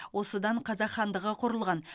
осыдан қазақ хандығы құрылған